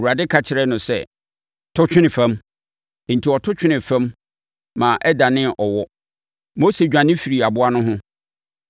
Awurade ka kyerɛɛ no sɛ, “To twene fam.” Enti ɔto twenee fam ma ɛdanee ɔwɔ. Mose dwane firii aboa no ho.